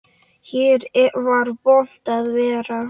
Hér var vont að vera.